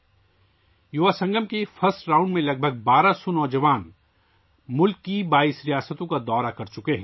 یووا سنگم کے پہلے دور میں تقریباً 1200 نوجوانوں نے ملک کی 22 ریاستوں کا دورہ کیا ہے